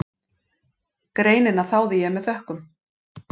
Greinina þáði ég með þökkum.